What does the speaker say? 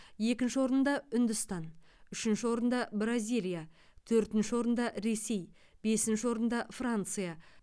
екінші орында үндістан үшінші орында бразилия төртінші орында ресей бесінші орында франция